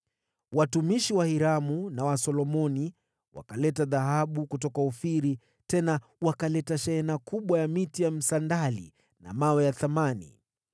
(Watumishi wa Hiramu na wa Solomoni wakaleta dhahabu kutoka Ofiri, tena wakaleta shehena kubwa ya miti ya msandali na vito vya thamani.